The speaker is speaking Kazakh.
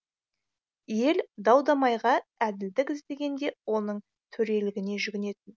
ел дау дамайға әділдік іздегенде оның төрелігіне жүгінетін